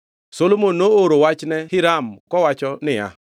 Solomon nooro wachne Hiram kowacho niya,